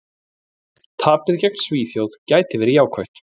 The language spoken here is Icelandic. Tapið gegn Svíþjóð gæti verið jákvætt.